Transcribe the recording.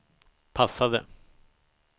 passade